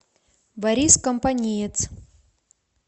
борис компаниец